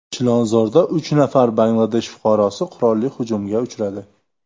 Chilonzorda uch nafar Bangladesh fuqarosi qurolli hujumga uchradi.